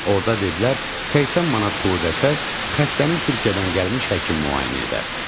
Orda dedilər 80 manat pul ödəssəz, xəstənin Türkiyədən gəlmiş həkim müayinə edər.